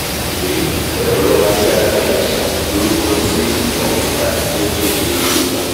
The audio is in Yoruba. mo mọ̀n pé ẹ̀rọ ayárabíàṣá lorúkọ tí computer ń jẹ́ ní èdè yorùbá